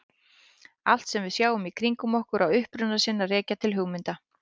Allt sem við sjáum í kringum okkur á uppruna sinn að rekja til hugmynda.